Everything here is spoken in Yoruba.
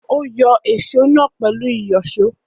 Ó yọ èsó náà pẹ̀lú ìyọ̀ṣó.